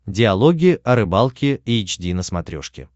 диалоги о рыбалке эйч ди на смотрешке